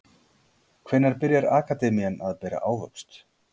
Hvenær byrjar akademían að bera ávöxt?